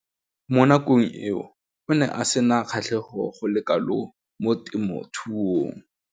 Mo nakong eo o ne a sena kgatlhego go le kalo mo temothuong.